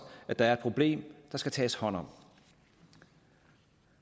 at der er et problem der skal tages hånd om